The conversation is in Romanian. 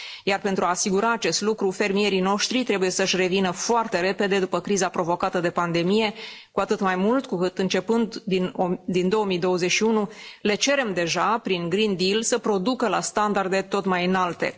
Iar pentru a asigura acest lucru, fermierii noștri trebuie să și revină foarte repede după criza provocată de pandemie, cu atât mai mult cu cât începând din 2021 le cerem deja, prin Green Deal să producă la standarde tot mai înalte.